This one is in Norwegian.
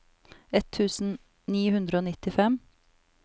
ett tusen ni hundre og nittifem